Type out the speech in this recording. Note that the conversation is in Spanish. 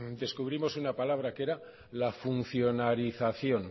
descubrimos una palabra que era la funcionalización